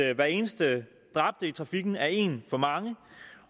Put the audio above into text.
at hver eneste dræbte i trafikken er en for mange